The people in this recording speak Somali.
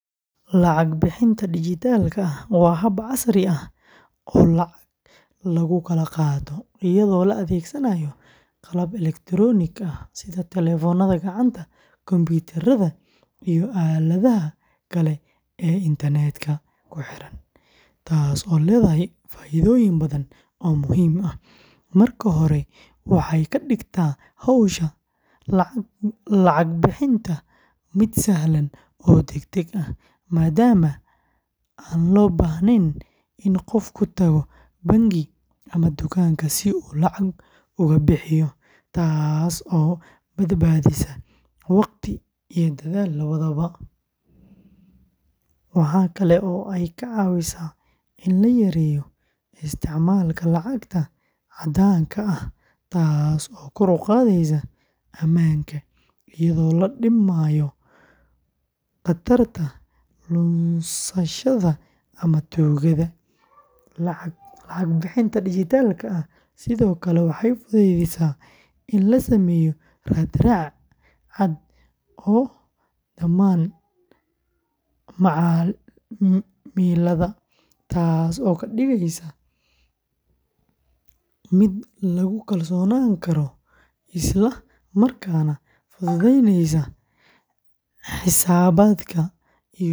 Lacag bixinta dijitaalka ah waa hab casri ah oo lacag lagu kala qaato iyadoo la adeegsanayo qalabka elektaroonigga ah sida telefoonada gacanta, kombiyuutarada, iyo aaladaha kale ee internet-ka ku xiran, taasoo leedahay faa'iidooyin badan oo muhiim ah. Marka hore, waxay ka dhigtaa hawsha lacag bixinta mid sahlan oo degdeg ah, maadaama aan loo baahnayn in qofku tago bangi ama dukaanka si uu lacag uga bixiyo, taasoo badbaadisa waqti iyo dadaal labadaba. Waxa kale oo ay ka caawisaa in la yareeyo isticmaalka lacagta caddaanka ah taasoo kor u qaadaysa ammaanka, iyadoo la dhimayo khatarta lunsashada ama tuugada. Lacag bixinta dijitaalka ah sidoo kale waxay fududaysaa in la sameeyo raad-raac cad oo dhammaan macaamilada, taasoo ka dhigaysa mid lagu kalsoonaan karo isla markaana fududeynaysa xisaabaadka iyo canshuuraha.